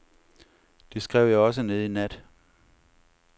Det skrev jeg også ned i nat.